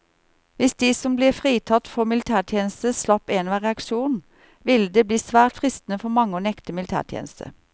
Hvis de som ble fritatt for militærtjeneste slapp enhver reaksjon, ville det bli svært fristende for mange å nekte militætjeneste.